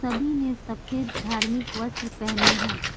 सभी ने सफेद धार्मिक वस्त्र पहने हैं।